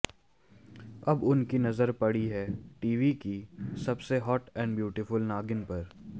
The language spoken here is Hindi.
अब उनकी नजर पड़ी है टीवी की सबसे हॉट एड ब्यूटिफल नागिन पर